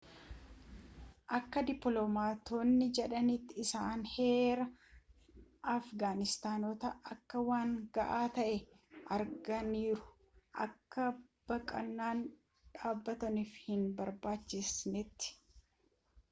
akka dippilomaatootni jedhanitti isaan heera afgaanistanoota akka waan ga'aa ta'ee argaaniruu akka baqaannan dhabatuuf hin barbaachisneetti